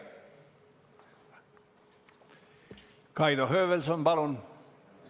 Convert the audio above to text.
Kaido Höövelson, palun!